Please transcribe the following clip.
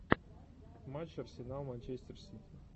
матч арсенал манчестер сити